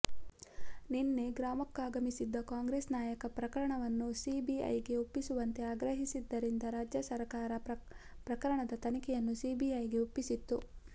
ನಿನ್ನೆ ಗ್ರಾಮಕ್ಕಾಗಮಿಸಿದ್ದ ಕಾಂಗ್ರೆಸ್ ನಾಯಕ ಪ್ರಕರಣವನ್ನು ಸಿಬಿಐಗೆ ಒಪ್ಪಿಸುವಂತೆ ಆಗ್ರಹಿಸಿದ್ದರಿಂದ ರಾಜ್ಯ ಸರಕಾರ ಪ್ರಕರಣದ ತನಿಖೆಯನ್ನು ಸಿಬಿಐಗೆ ಒಪ್ಪಿಸಿತ್ತು